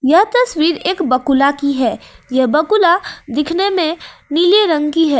यह तस्वीर एक बकुला की है यह बकुला दिखने में नीले रंग की है।